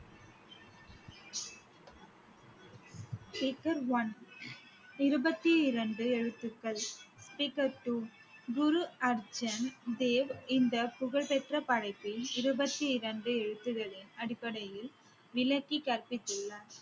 speaker one இருபத்தி இரண்டு எழுத்துக்கள் speaker two குரு அர்ஜூன் தேவ் இந்த புகழ்பெற்ற படைப்பின் இருபத்தி இரண்டு எழுத்துகளின் அடிப்படையில் விளக்கி கற்பித்துள்ளார்